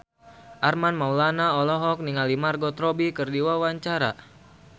Armand Maulana olohok ningali Margot Robbie keur diwawancara